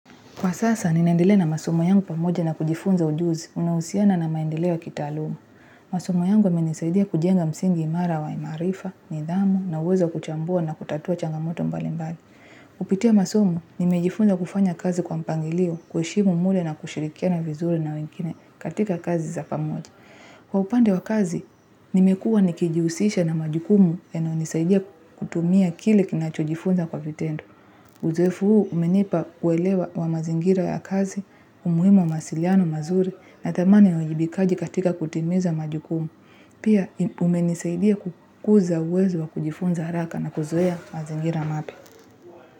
Kwa sasa, ninaendelea na masomo yangu pamoja na kujifunza ujuzi, unahusiana na maendeleo ya kitaaluma. Masomo yangu yamenisaidia kujenga msingi imara wa imaarifa, nidhamu, na uwezo wa kuchambua na kutatua changamoto mbali mbali. Kupitia masomo, nimejifunza kufanya kazi kwa mpangilio, kuheshimu muda na kushirikiana vizuri na wengine katika kazi za pamoja. Kwa upande wa kazi, nimekuwa nikijihusisha na majukumu yanayonisaidia kutumia kile kinacho jifunza kwa vitendo. Uzoefu huu umenipa uelewa wa mazingira ya kazi, umuhimu wa mawasiliano mazuri na thamani ya uwajibikaji katika kutimiza majukumu. Pia umenisaidia kukuza uwezo wa kujifunza haraka na kuzoea mazingira mapya.